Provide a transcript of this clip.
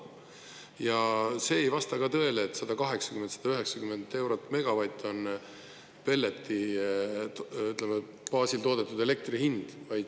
Ja see ei vasta ka tõele, et 180–190 eurot megavatt- on pelleti baasil toodetud elektri hind.